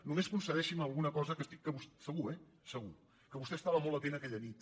només concedeixi’m alguna cosa que estic segur eh segur que vostè estava molt atent aquella nit